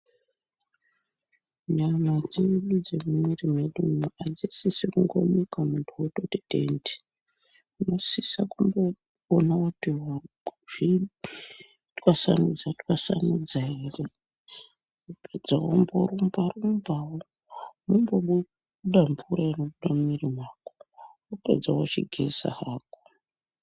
Nyama dzedu dzemumwiri mwedumwu hadzisi kungomuka muntu wongoti tende. Unosisa kumboona kuti wazvitwasanudza-twasanudza here wapedza womborumba-rumba, wombobuda mvura inobuda mumwiiri mwako, wapedza wochigeza hako.